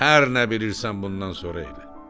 Hər nə bilirsən bundan sonra elə.